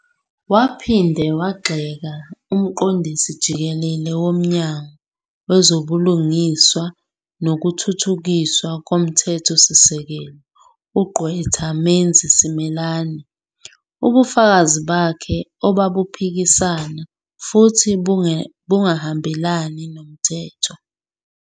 Waphinde wagxeka uMqondisi Jikelele woMnyango Wezobulungiswa Nokuthuthukiswa Komthethosisekelo, uGqwetha Menzi Simelane, ubufakazi bakhe obabuphikisana, futhi bungahambelani nomthetho.